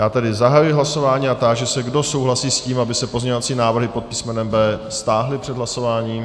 Já tedy zahajuji hlasování a táži se, kdo souhlasí s tím, aby se pozměňovací návrhy pod písmenem B stáhly před hlasováním.